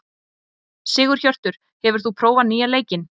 Sigurhjörtur, hefur þú prófað nýja leikinn?